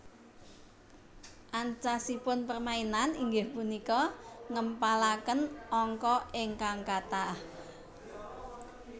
Ancasipun permainan inggih punika ngèmpalakèn angka ingkang katah